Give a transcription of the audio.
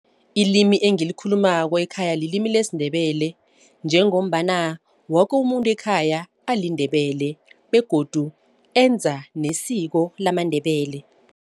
Ilimi engilikhulumako ekhaya lilimi lesiNdebele njengombana woke umuntu ekhaya aliNdebele begodu enza nesiko lamaNdebele.